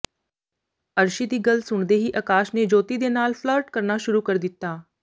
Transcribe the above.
ਅਰਸ਼ੀ ਦੀ ਗੱਲ ਸੁਣਦੇ ਹੀ ਅਕਾਸ਼ ਨੇ ਜੋਤੀ ਦੇ ਨਾਲ ਫਲਰਟ ਕਰਨਾ ਸ਼ੁਰੂ ਕਰ ਦਿੱਤਾ